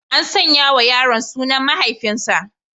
An sanya wa yaron sunan mahaifinsa.